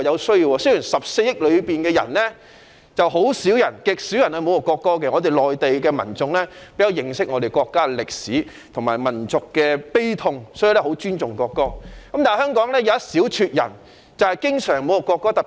雖然中國14億人中極少人會侮辱國歌，內地民眾比較認識國家的歷史和民族悲痛，十分尊重國歌，但香港有一小撮人經常侮辱國歌。